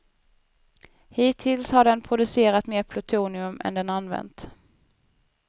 Hittills har den producerat mer plutonium än den använt.